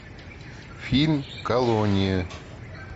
фильм колония